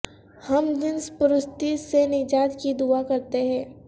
ہم جنس پرستی سے نجات کی دعا کرتے ہیں